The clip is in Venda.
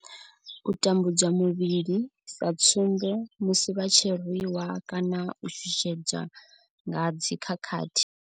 U tambudzwa muvhili sa tsumbo, musi vha tshi rwi wa kana u shushedzwa nga dzi khakhathi.